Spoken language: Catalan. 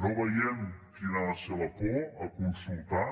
no veiem quina ha de ser la por a consultar